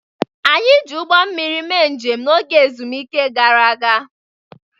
Anyị ji ụgbọ mmiri mee njem n'oge ezumike gara aga.